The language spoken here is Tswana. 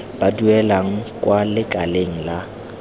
ba duelang kwa lekaleng la